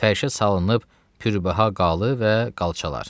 Fəhşə salınıb pürbəha qalı və qalçalar.